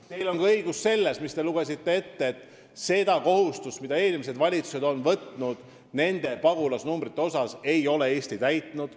Teil on õigus ka selles, mis te ette lugesite, et seda kohustust, mille eelmised valitsused on pagulasnumbrite koha pealt võtnud, ei ole Eesti täitnud.